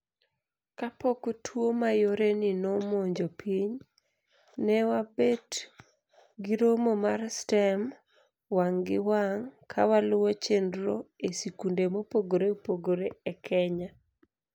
Kapok tuo mayoreni nomonjo piny, ne wabet giromo mar STEM wang' gi wang' kawaluwo chenro e sikunde mopogre opogre e Kenya.